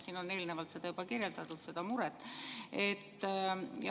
Siin on eelnevalt juba kirjeldatud seda muret.